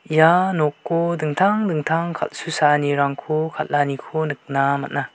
ia noko dingtang dingtang kal·susaanirangko kal·aniko nikna man·a.